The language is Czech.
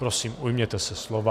Prosím, ujměte se slova.